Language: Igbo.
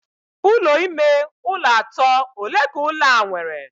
Ulo ime ụlọ atọ ole ka ụlọ a nwere?